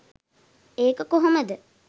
ඒක කොහොමද